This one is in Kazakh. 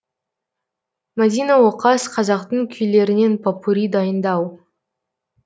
мадина оқас қазақтың күйлерінен попурри дайындау